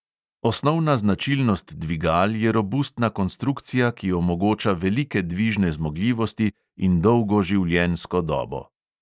Osnovna značilnost dvigal je robustna konstrukcija, ki omogoča velike dvižne zmogljivosti in dolgo življenjsko dobo.